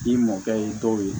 I mɔkɛ ye dɔw ye